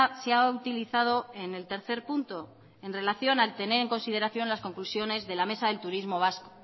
se ha utilizado en el tercer punto en relación al tener en consideración las conclusiones de la mesa del turismo vasco